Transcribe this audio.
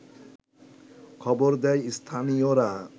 খবর দেয় স্থানীয়রা